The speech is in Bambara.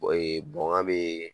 ka be yen